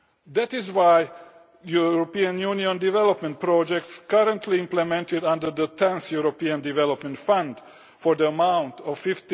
traffickers. That is why European Union development projects currently being implemented under the 10th European Development Fund in the amount